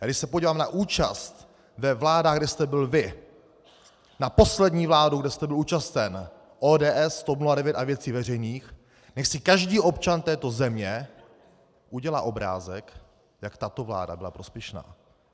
A když se podívám na účast ve vládách, kde jste byl vy, na poslední vládu, kde jste byl účasten, ODS, TOP 09 a Věcí veřejných, nechť si každý občan této země udělá obrázek, jak tato vláda byla prospěšná.